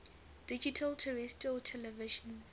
digital terrestrial television